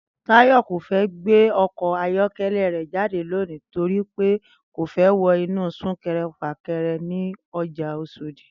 Táyò̩ kò gbé o̩kò̩ ayó̩ké̩lé̩ rè̩ jáde lónìí torí pé kò fé̩ wo̩ inú súnke̩re̩-fàke̩re̩ ní o̩jà Os̩òdì